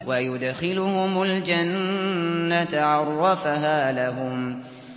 وَيُدْخِلُهُمُ الْجَنَّةَ عَرَّفَهَا لَهُمْ